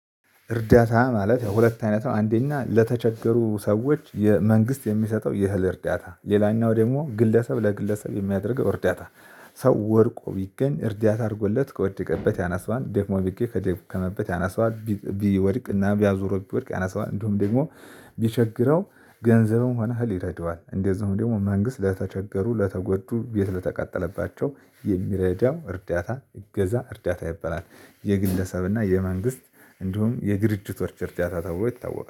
እርዳታ ማለት ያው ሁለት አይነት ነው። አንደኛ ለተቸገሩ ሰዎች መንግስት የሚሰጠው የእህል እርዳታ ሌላኛው ደግሞ ግለሰብ ለግለሰብ የሚያደርገው እርዳታ። ሰው ወድቆ ቢገኝ እርዳታ አድርጎለት ከወደቀበት ያነሳዋል ደክሞ ቢገኝ ከደከመበት ያነሳዋል ቢወድቅና አዙሮት ቢወድቅ ያነሳዋል እንዲሁም ደግሞ። ቢቸግረው ገንዘብም ሆነ እህል ይረዳዋል እንደዚሁም ደግሞ መንግስት ለተቸገሩ ለተጎዱ ቤት ለተቃጠለባቸው የሚረዳው እርዳታ እገዛ እርዳታ ይበላል። የግለሰብና የመንግስት እንዲሁም የድርጅቶች እርዳታ ተብሎ ይታወቃል